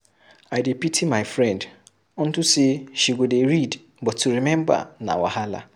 I dey pity my friend unto say she go dey read but to remember na wahala.